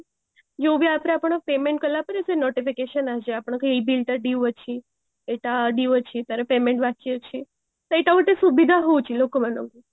ଯୋଉ ବି app ରେ ଆପଣ payment କରିଲା ପରେ ସେ notification ଆସିଯାଏ ଆପଣଙ୍କ ଏଇ bill ଟା due ଅଛି ଏଇଟା due ଅଛି ତାର payment ବାକି ଅଛି ଏଇଟା ଗୋଟେ ସୁବିଧା ହଉଚି ଲୋକ ମାନଙ୍କୁ